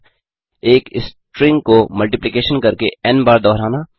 3एक string को multiplication करके N बार दोहराना